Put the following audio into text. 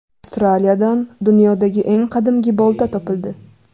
Avstraliyadan dunyodagi eng qadimgi bolta topildi.